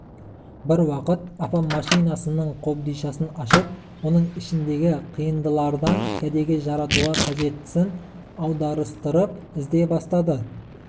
бір уақыт апам машинасының қобдишасын ашып оның ішіндегі қиындылардан кәдеге жаратуға қажеттісін аударыстырып іздей бастайды